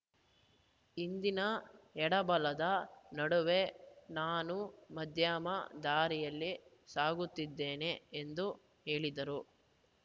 ಇಂದಿನ ಎಡಬಲದ ನಡುವೆ ನಾನು ಮಧ್ಯಮ ದಾರಿಯಲ್ಲಿ ಸಾಗುತ್ತಿದ್ದೇನೆ ಎಂದು ಹೇಳಿದರು